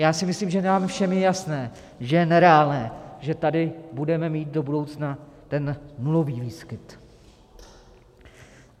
Já si myslím, že nám všem je jasné, že je nereálné, že tady budeme mít do budoucna ten nulový výskyt.